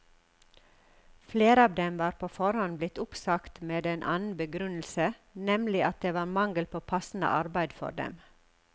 Flere av dem var på forhånd blitt oppsagt med en annen begrunnelse, nemlig at det var mangel på passende arbeid for dem.